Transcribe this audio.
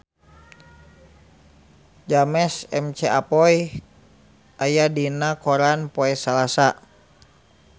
James McAvoy aya dina koran poe Salasa